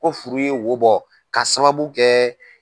Ko furu ye wo bɔ k'a sababu kɛ.